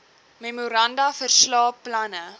memoranda verslae planne